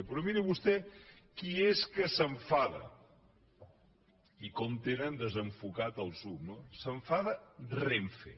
però miri vostè qui és que s’enfada i com tenen desenfocat el zoom no s’enfada renfe